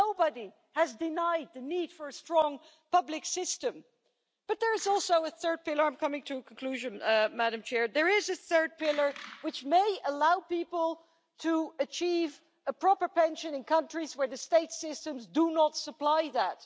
Nobody has denied the need for a strong public system, but there is also a third pillar and I'm coming to a conclusion, Madam President! There is a third pillar which may allow people to achieve a proper pension in countries where the state systems do not supply